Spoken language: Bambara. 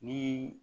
Ni